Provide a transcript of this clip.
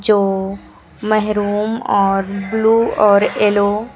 जो मेहरूम और ब्लू और येलो --